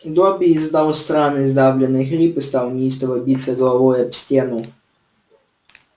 добби издал странный сдавленный хрип и стал неистово биться головой об стену